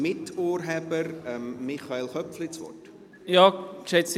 Ich gebe Michael Köpfli als Miturheber das Wort.